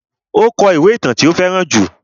Ó kó ìwé ìtàn tí ó fẹ́ràn jù.